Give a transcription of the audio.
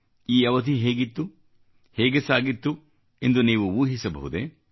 ಈ ಅವಧಿ ಹೇಗಿತ್ತು ಹೇಗೆ ಸಾಗಿತ್ತು ಎಂದು ನೀವು ಊಹಿಸಬಹುದೇ